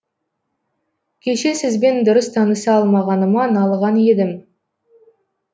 кеше сізбен дұрыс таныса алмағаныма налыған едім